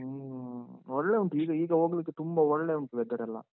ಹ್ಮ. ಮದ್ವೆ ಉಂಟು ಈಗ, ಈಗ ಹೋಗ್ಲಿಕ್ಕೆ ತುಂಬಾ ಒಳ್ಳೇ ಉಂಟು weather ಎಲ್ಲ.